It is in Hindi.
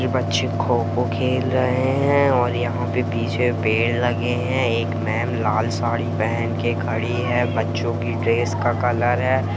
ये बच्चे खो-खो खेल रहे है और यहां पर पीछे पेड़ लगे है एक मेम लाल साड़ी पहन के खड़ी है बच्चों की ड्रेस का कलर हैं।